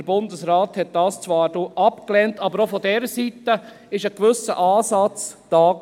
Der Bundesrat lehnte dies zwar ab, aber auch von dieser Seite war ein gewisser Ansatz da.